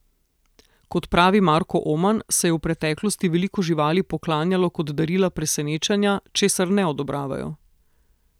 Kot pravi Marko Oman, se je v preteklosti veliko živali poklanjalo kot darila presenečenja, česar ne odobravajo.